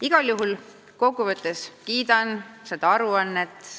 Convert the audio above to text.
Aga kokkuvõttes ma igal juhul kiidan seda aruannet.